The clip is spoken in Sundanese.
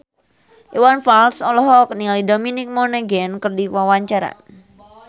Iwan Fals olohok ningali Dominic Monaghan keur diwawancara